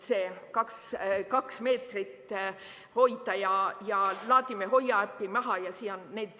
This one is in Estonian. See kaks meetrit ja laadime alla Hoia äpi.